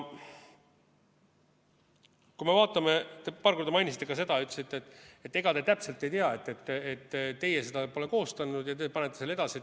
Kui me vaatame, te paar korda mainisite ka seda, ütlesite, et ega te täpselt ei tea, et teie pole seda koostanud ja teie saadate selle edasi.